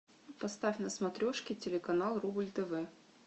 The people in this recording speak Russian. поставь на смотрешке телеканал рубль тв